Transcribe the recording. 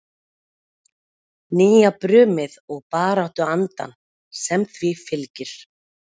Nýjabrumið og baráttuandann sem því fylgir?